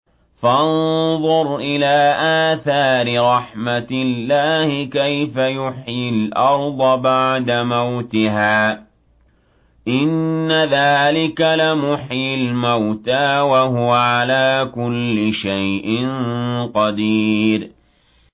فَانظُرْ إِلَىٰ آثَارِ رَحْمَتِ اللَّهِ كَيْفَ يُحْيِي الْأَرْضَ بَعْدَ مَوْتِهَا ۚ إِنَّ ذَٰلِكَ لَمُحْيِي الْمَوْتَىٰ ۖ وَهُوَ عَلَىٰ كُلِّ شَيْءٍ قَدِيرٌ